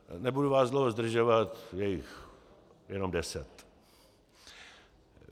Nebudu vás dlouho zdržovat, je jich jenom deset.